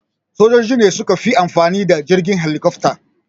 Sojoji ne suka fi amfani da jirgin helikofta.